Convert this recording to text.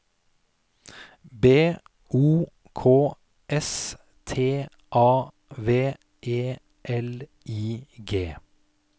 B O K S T A V E L I G